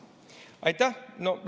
Aitäh!